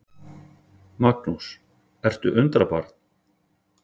Magnús: Ertu undrabarn?